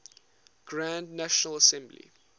grand national assembly